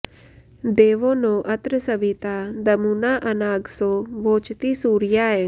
दे॒वो नो॒ अत्र॑ सवि॒ता दमू॑ना॒ अना॑गसो वोचति॒ सूर्या॑य